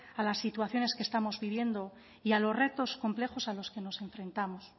a las situaciones que estamos viviendo y a los retos complejos a los que nos enfrentamos